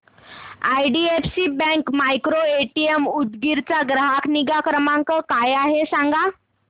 IDFC bank micro ATM Udgir चा ग्राहक निगा क्रमांक काय आहे सांगा